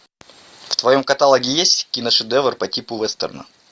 в твоем каталоге есть киношедевр по типу вестерна